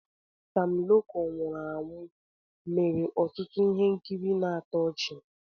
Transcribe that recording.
Sam Loco nwụrụ anwụ mere ọtụtụ ihe nkiri na-atọ ọchi.